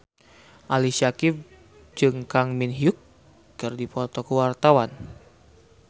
Ali Syakieb jeung Kang Min Hyuk keur dipoto ku wartawan